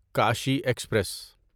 Kashi express